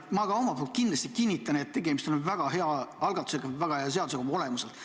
Ma ka omalt poolt kinnitan, et tegemist on väga hea algatusega, väga hea eelnõuga oma olemuselt.